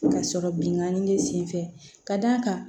Ka sɔrɔ binkanni be sen fɛ ka d'a kan